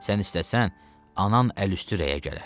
Sən istəsən, anan əl üstü rəyə gələr.